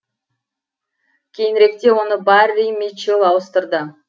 кейініректе оны барри митчелл ауыстырды